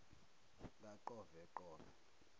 kaqoveqove